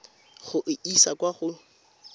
go e isa kwa go